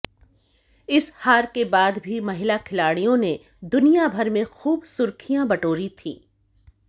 इस हार के बाद भी महिला खिलाड़ियों ने दुनिया भर में खूब सुर्खियां बटोरी थी